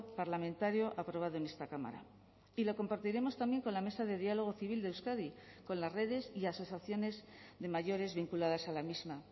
parlamentario aprobado en esta cámara y lo compartiremos también con la mesa de diálogo civil de euskadi con las redes y asociaciones de mayores vinculadas a la misma